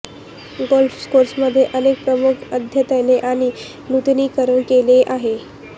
golf कोर्समध्ये अनेक प्रमुख अद्यतने आणि नूतनीकरण केले आहेत